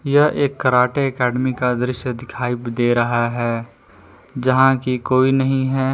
यह एक karate academy का दृश्य दिखाई दे रहा है जहां की कोई नहीं है।